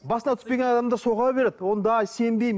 басына түспеген адамдар соға береді ондай сенбеймін